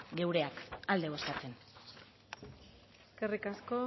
geureak alde bozkatzen eskerrik asko